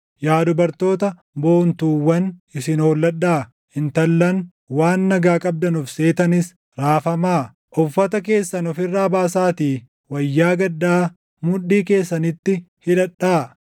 Yaa dubartoota boontuuwwan isin holladhaa; intallan waan nagaa qabdan of seetanis raafamaa! Uffata keessan of irraa baasaatii wayyaa gaddaa mudhii keessanitti hidhadhaa.